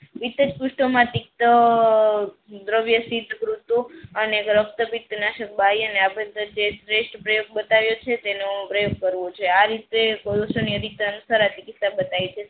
એકજ પુસ્તો માં થી દ્રવ્ય અને રકતા પીઠ નાસક બાઈ શ્રેસ્થ બ્રેવ બતાવ્યો છે તેનો પ્રયોગ કરવું આ રીતે બતાઈ છે.